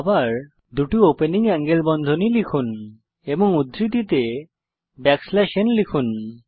আবার দুটি opening angle বন্ধনী লিখুন এবং উদ্ধৃতিতে ব্যাকস্ল্যাশ n n লিখুন